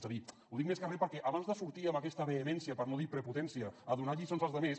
és a dir ho dic més que re perquè abans de sortir amb aquesta vehemència per no dir prepotència a donar lliçons als altres